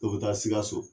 Dɔ bɛ taa sikaso